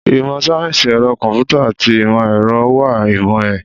Ìmọ̀ sáyẹ́sì ẹ̀rọ kọ̀m̀pútà àti ìmọ̀ ẹ̀rọ ń wa ìmọ̀ ẹ̀